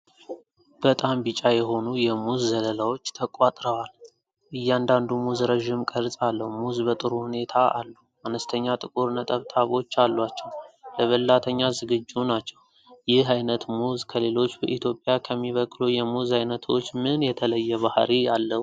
በጣም ቢጫ የሆኑ የ ሙዝ ዘለላዎች ተቆርጠዋል። እያንዳንዱ ሙዝ ረዥም ቅርፅ አለው። ሙዝ በጥሩ ሁኔታ አሉ፣ አነስተኛ ጥቁር ነጠብጣቦች አሏቸው። ለበላተኛ ዝግጁ ናቸው። ይህ ዓይነት ሙዝ ከሌሎች በኢትዮጵያ ከሚበቅሉ የሙዝ ዓይነቶች ምን የተለየ ባህሪይ አለው?